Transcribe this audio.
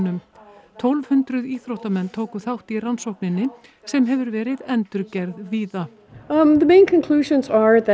afreksíþróttamönnum tólf hundruð íþróttamenn tóku þátt í rannsókninni sem hefur verið endurgerð víða